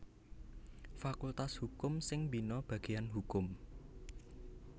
Fakultas Hukum sing mbina bagéyan Hukum